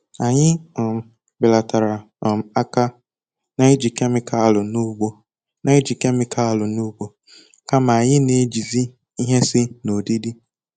Anyị um belatara um aka na-iji kemikalụ n'ugbo, na-iji kemikalụ n'ugbo, kama anyị na-ejizi ihe si n'odidi